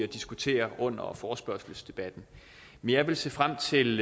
diskutere under forespørgselsdebatten jeg vil se frem til